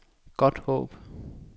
Godthåb